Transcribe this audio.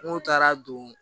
N'o taara don